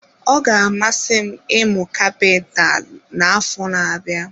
Ọ ga-amasị m ịmụ kapitalụ na-afọ na-abịa.